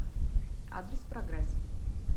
адрес прогресс